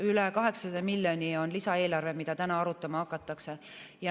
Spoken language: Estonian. Üle 800 miljoni on lisaeelarve, mida täna arutama hakatakse.